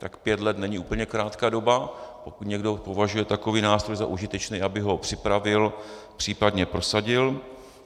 Tak pět let není úplně krátká doba, pokud někdo považuje takový nástroj za užitečný, aby ho připravil, případně prosadil.